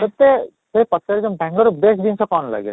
ତୋତେ କୋଉ ପାଖରେ ସାଙ୍ଗର best ଜିନିଷ କ'ଣ ଲାଗେ?